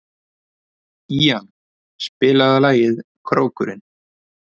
Ían, spilaðu lagið „Krókurinn“.